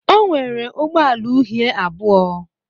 O nwere ụgbọ ala uhie abụọ.